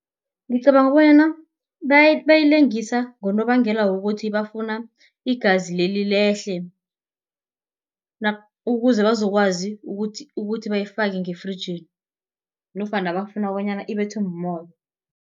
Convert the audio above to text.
Ngicabanga bonyana bayilengisa ngonobangela wokuthi bafuna igazi leli lehle, ukuze bazokwazi ukuthi bayifake ngefrijini nofana bafuna bonyana ibethwe mumoya.